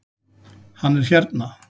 Hann er hérna